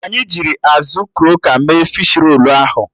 Anyị jirl azụ kroka mee fishi rolu ahụ